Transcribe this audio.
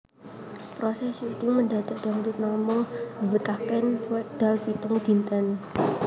Proses shooting Mendadak Dangdut namung mbetahaken wekdal pitung dinten